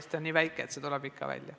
Eesti on nii väike, et see tuleb ikka välja.